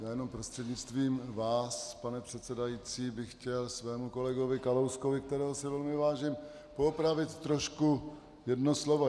Já jenom prostřednictvím vás, pane předsedající, bych chtěl svému kolegovi Kalouskovi, kterého si velmi vážím, poopravit trošku jedno slovo.